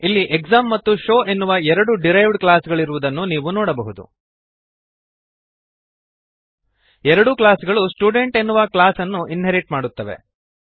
ಇಲ್ಲಿ ಎಕ್ಸಾಮ್ ಮತ್ತು ಶೋವ್ ಎನ್ನುವ ಎರಡು ಡಿರೈವ್ಡ್ ಕ್ಲಾಸ್ ಗಳಿರುವುದನ್ನು ನೀವು ನೋಡಬಹುದು ಎರಡೂ ಕ್ಲಾಸ್ಗಳು ಸ್ಟುಡೆಂಟ್ ಎನ್ನುವ ಕ್ಲಾಸ್ಅನ್ನು ಇನ್ಹೆರಿಟ್ ಮಾಡುತ್ತವೆ